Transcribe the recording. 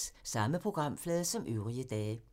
Samme programflade som øvrige dage